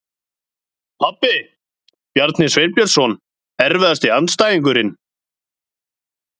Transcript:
Pabbi, Bjarni Sveinbjörnsson Erfiðasti andstæðingur?